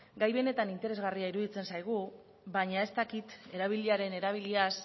gai benetan interesgarria iruditzen zaigu baina ez dakit erabiliaren erabiliaz